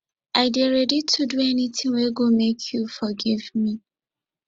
i dey ready to do anytin wey go make you forgive me